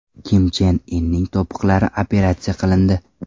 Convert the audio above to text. Kim Chen Inning to‘piqlari operatsiya qilindi.